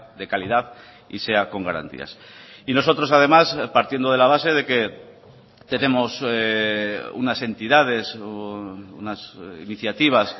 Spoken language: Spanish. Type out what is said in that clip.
de calidad y sea con garantías y nosotros además partiendo de la base de que tenemos unas entidades unas iniciativas